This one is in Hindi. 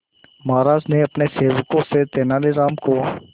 महाराज ने अपने सेवकों से तेनालीराम को